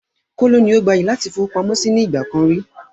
Kóló ni ó gbayì láti fowópamọ́ síí nì ìgbàkan ríi